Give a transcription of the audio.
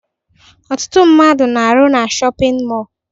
Ọtụtụ ndị mmadụ na-arụ na shọpịn mọọ